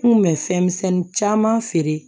N kun bɛ fɛnmisɛnni caman feere